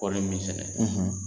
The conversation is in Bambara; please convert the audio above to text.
Kɔɔrɔ min sɛnɛ